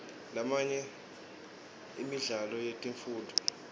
lamanye emidlalo yetemfundvo